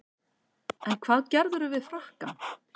En hvað gerðirðu við frakkann?